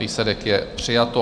Výsledek je: přijato.